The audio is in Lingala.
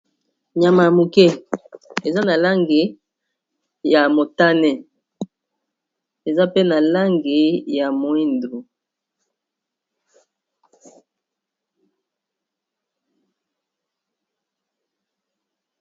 Nyama ya moke eza na lange ya motane eza pe na langi ya moindo.